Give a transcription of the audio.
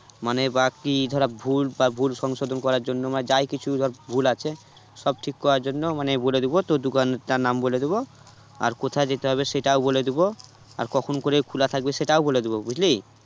মানে বাকি ধর ভুল বা ভুল সংশোধন করার জন্য মানে যাই কিছু ধর ভুল আছে সব ঠিক করার জন্য মানে বলে দেব তোর দোকানটার নাম বলে দেব আর কোথায় যেতে হবে সেটা ও বলে দিবো আর কখন করে খোলা থাকবে সেটাও বলে দিবো বুঝলি?